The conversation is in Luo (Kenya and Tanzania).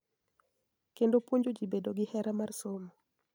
Kendo puonjo ji bedo gi hera mar somo.